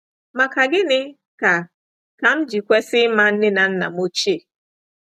Maka Gịnị Ka Ka M Ji Kwesị Ịma Nne na Nna M Ochie?